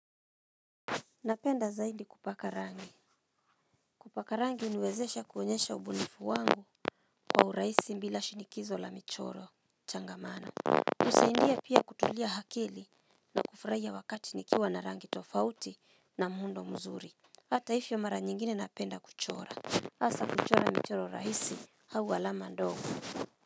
Napenda zaidi kupaka rangi Kupaka rangi huniwezesha kuonyesha ubunifu wangu Kwa urahisi bila shinikizo la michoro changamana husaidia pia kutulia akili na kufurahia wakati nikiwa na rangi tofauti na muundo mzuri hata hivyo mara nyingine napenda kuchora hasa kuchora michoro rahisi au alama ndogo.